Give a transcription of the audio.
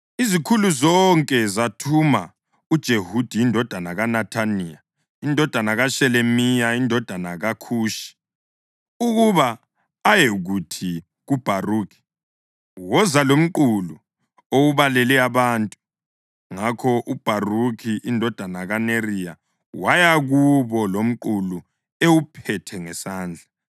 izikhulu zonke zathuma uJehudi indodana kaNethaniya, indodana kaShelemiya, indodana kaKhushi, ukuba ayekuthi kuBharukhi, “Woza lomqulu owubalele abantu.” Ngakho uBharukhi indodana kaNeriya waya kubo lomqulu ewuphethe ngesandla.